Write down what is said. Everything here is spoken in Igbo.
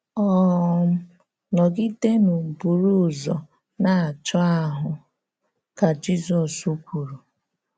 um “Nọ̀gídènụ̀ buru ụzọ na-achọ̀ àhụ́,” ka Jizọs kwùrù.